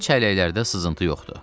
həmin çəlləklərdə sızıntı yoxdur.